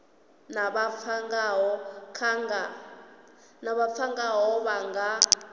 vha pfana ngaho vha nga